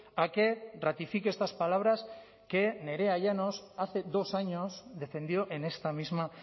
a que ratifique estas palabras que nerea llanos hace dos años defendió en esta misma